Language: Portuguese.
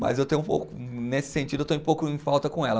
Mas eu tenho um pouco, nesse sentido, eu estou um pouco em falta com ela.